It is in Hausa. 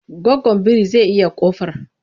Goggon biri zai iya ƙofar.